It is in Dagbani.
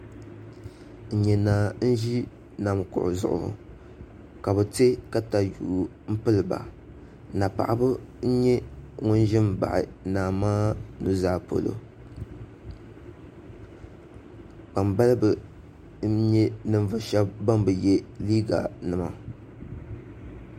N nyɛ naa n ʒi nam kuɣu zuɣu ka bi tiɛ katayuu n piliba na paɣaba n nyɛ bin ʒi n baɣa naa maa nuzaa polo kpambalibi n nyɛ ninvuɣu shab ban bi yɛ liiga nima